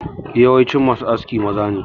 Yawancin ma su aski maza ne